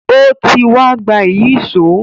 Ó ti wa gba Ìyíṣòó